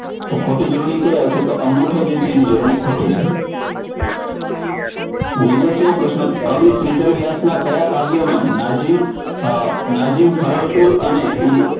તો ખોટી જોડણી કઈ આવશે? તો અંગૂઠો જે છે એની જોડણી ખોટી છે. નેવ્યાશી મો પ્રશ્ન કવિ શ્રીધર વ્યાસના કયા કાવ્યમાં નજીન નાજીન અને